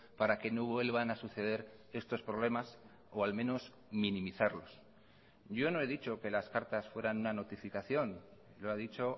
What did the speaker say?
para que no vuelvan a suceder estos problemas o al menos minimizarlos yo no he dicho que las cartas fueran una notificación lo ha dicho